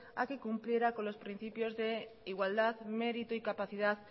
a que cumpliera con los principios de igualdad mérito y capacidad